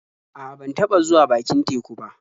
A'a, ban taɓa zuwa bakin teku ba.